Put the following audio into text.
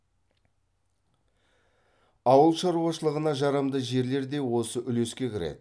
ауыл шаруашылығына жарамды жерлер де осы үлеске кіреді